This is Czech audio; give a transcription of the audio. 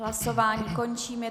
Hlasování končím.